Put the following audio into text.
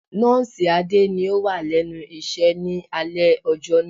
Nọ́ọ̀sì Adé ni ó wà lẹ́nu iṣẹ́ ni alẹ́ ọjọ́ náà.